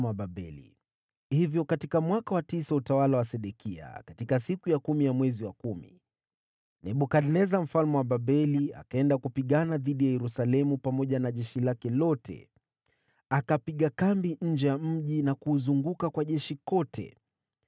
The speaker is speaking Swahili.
Hivyo katika mwaka wa tisa wa utawala wa Sedekia, katika siku ya kumi ya mwezi wa kumi, Nebukadneza mfalme wa Babeli, akiwa na jeshi lake lote, alifanya vita dhidi ya Yerusalemu. Akapiga kambi nje ya mji na kuuzunguka mji pande zote.